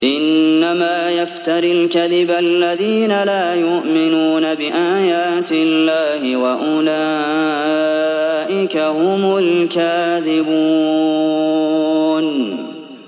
إِنَّمَا يَفْتَرِي الْكَذِبَ الَّذِينَ لَا يُؤْمِنُونَ بِآيَاتِ اللَّهِ ۖ وَأُولَٰئِكَ هُمُ الْكَاذِبُونَ